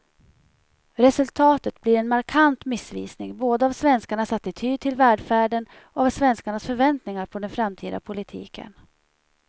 Resultatet blir en markant missvisning både av svenskarnas attityd till välfärden och av svenskarnas förväntningar på den framtida politiken.